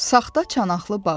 Saxta çanaqlı bağa.